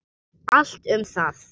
Allt um það.